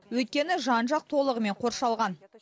өйткені жан жақ толығымен қоршалған